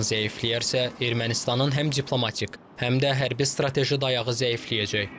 İran zəifləyərsə, Ermənistanın həm diplomatik, həm də hərbi strateji dayağı zəifləyəcək.